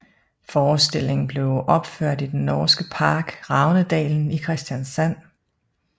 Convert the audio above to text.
Forestillingen blev opført i den norske park Ravnedalen i Kristiansand